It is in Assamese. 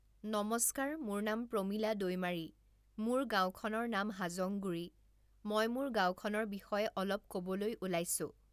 নমস্কাৰ মোৰ নাম প্ৰমীলা দৈমাৰী, মোৰ গাঁওখনৰ নাম হাজংগুড়ি, মই মোৰ গাওঁখনৰ বিষয়ে অলপ ক'বলৈ ওলাইছোঁ।